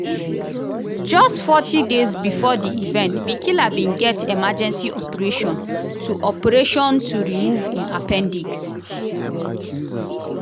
just forty days bifor di event bikila bin get emergency operation to operation to remove im appendix.